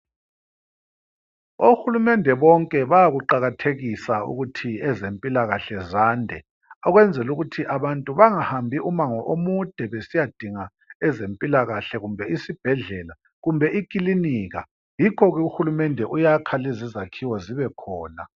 Ohulumende bonke bayakuqakathekisa ukuthi ezempilakahle zande ukwenzela ukuthi abantu bangahambi umango omude besiyadinga ezempilakahle kumbe isibhedlela kumbe ikilinika, yikho-ke ohulumende uyakha lezi izakhiwo zibe khona.